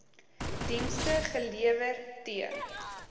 dienste gelewer t